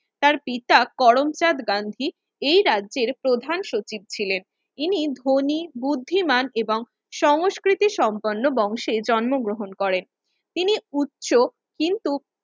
তার পিতা করমচাঁদ গান্ধি এই রাজ্যের প্রধান সচিব ছিলেন। ইনি ধনী বুদ্ধিমান এবং সংস্কৃতি সম্পন্ন বংশে জন্ম গ্রহণ করেন তিনি উচ্চ কিন্তু